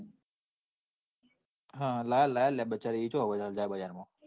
લઇ આપ લઈ આપ બચારી એ ક્યાં વાયી જાય બજાર માં.